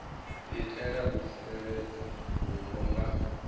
itela u tsireledza vhupo nga